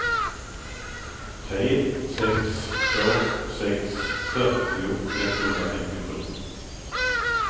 tre sex två sex fyrtio etthundrafemtiosju